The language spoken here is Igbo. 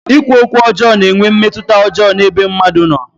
Ikwu okwu ọjọọ na-enwe mmetụta ọjọọ n'ebe mmadụ nọ.